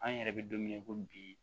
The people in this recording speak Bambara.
An yɛrɛ bɛ don min na i ko bi